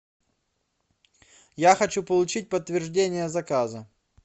я хочу получить подтверждение заказа